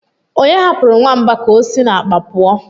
onye hapụrụ nwamba k'osi n'akpa pụọ?